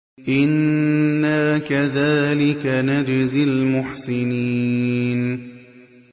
إِنَّا كَذَٰلِكَ نَجْزِي الْمُحْسِنِينَ